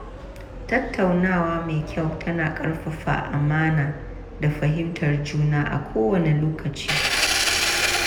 Tattaunawa mai kyau tana ƙarfafa amana da fahimtar juna a kowanne lokaci.